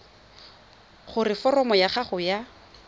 gore foromo ya gago ya